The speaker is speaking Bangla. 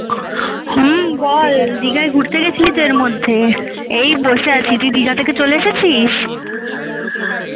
হম বল দিঘায় ঘুরতে গেছিলিতো এর মধ্যে এই বসে আছি তুই দিঘা চলে এসেছিস